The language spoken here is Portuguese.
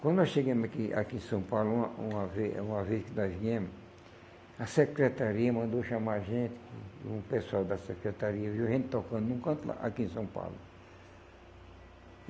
Quando nós chegamos aqui aqui em São Paulo, uma uma vez uma vez que nós viemos, a secretaria mandou chamar a gente, um o pessoal da secretaria viu a gente tocando num canto lá, aqui em São Paulo.